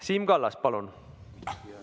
Siim Kallas, palun!